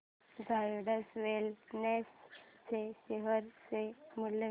Zydus Wellness च्या share चे मूल्य